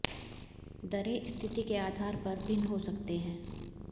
दरें स्थिति के आधार पर भिन्न हो सकते हैं